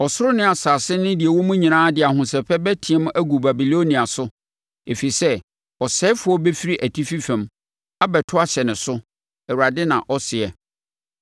Ɔsoro ne asase ne deɛ ɛwo mu nyinaa de ahosɛpɛ bɛteam agu Babilonia so, ɛfiri sɛ ɔsɛefoɔ bɛfiri atifi fam abɛto ahyɛ ne so,” Awurade na ɔseɛ.